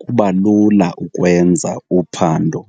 kuba lula ukwenza uphando.